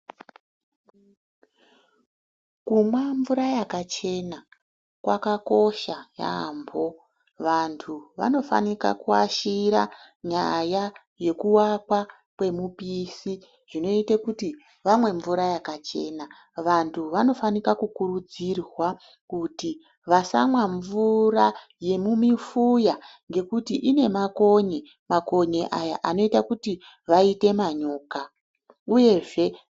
Kumwa mvura yakachena kwakakosha yambo vantu vanofanira kuashira nyaya yewaka kwemupishi zvinoite kuti vamwe mvura yakachena, vantu vanofanika kukurudzirwa kuti vasamwa mvura yemumifuya ngekuti ine makonye , makonye aya anoita kuti vaite manyoka uyezve.